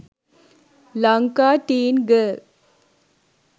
lanka teen girl